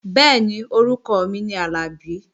Bẹ́ẹ̀ni, orúkọ mi ni Àlàbí